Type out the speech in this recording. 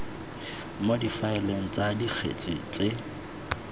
mo difaeleng tsa dikgetse tse